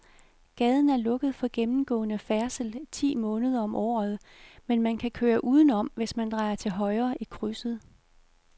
Gaden er lukket for gennemgående færdsel ti måneder om året, men man kan køre udenom, hvis man drejer til højre i krydset.